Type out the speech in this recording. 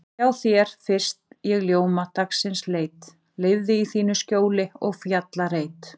Hjá þér fyrst ég ljóma dagsins leit, lifði í þínu skjóli og fjallareit.